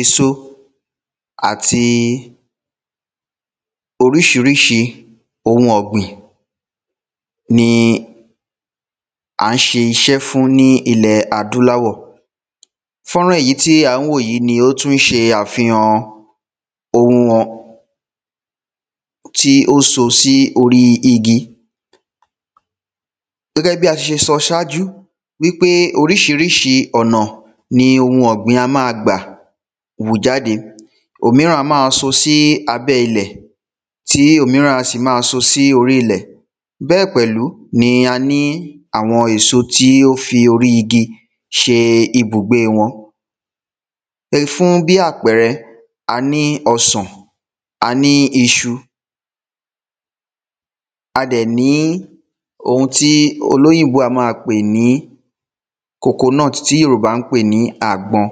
Èsò àti oríṣiríṣi ohun ọ̀gbìn ni à ń ṣe iṣẹ́ fún ní ilẹ̀ adúláwọ̀. Fọ́nrán èyí tí à ń wò yí ni ó tún ṣe àfihan ohun ọ pause] tí ó so sí orí igi. Gẹ́gẹ́ bí a sì se sọ sájú wípé oríṣiríṣi ọ̀nà ni ohun ọ̀gbìn a má a gbà hù jáde. òmíràn a má a so sí abẹ́ ilẹ̀. tí òmíràn a sì má a so sí orí ilẹ̀ Bẹ́ẹ̀ pẹ̀lú ni a ní àwo̩n èso tí ó fi orí igi ṣe ibùgbé wọn. um fú bí àpẹrẹ, a ní ọsàn, a ní isu. A dẹ̀ ní ohun tí olóỳnbó a má a pè ní coconut, ti Yorùbá ń pè ní àgbọn.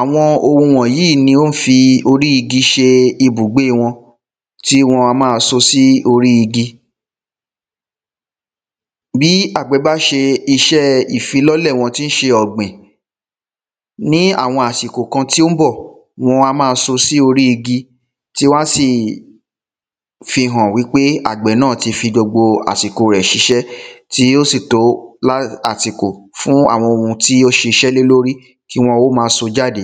Àwo̩n wò̩yíì ni wó̩n ń fi orí igi ṣe ibùgbé wọn. Tí wọn a má a so sí orí igi. Bí àgbẹ̀ bá ṣe iṣẹ́ ìfilọ́lẹ̀ wọn tí ṣe ọ̀gbìn. Ní àwọn àsìkò kan tí ó ń bọ̀, wọn a má a so sí orí igi. Tí wó̩n á sì fi hàn wípé àgbẹ̀ náà ti fi gbogbo àsìkò rẹ̀ ṣiṣẹ́. Tí ó sì tó lá àsìkò fún àwọn tó ṣiṣẹ́ lé lórí kí wọn ó má a so jáde.